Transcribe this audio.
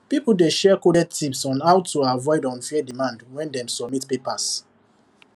people dey share coded tips on how to to avoid unfair demand when dem submit papers